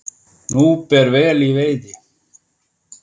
Nú ber vel í veiði